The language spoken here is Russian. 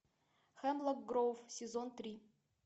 хемлок гроув сезон три